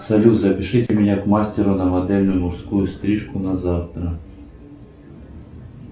салют запишите меня к мастеру на модельную мужскую стрижку на завтра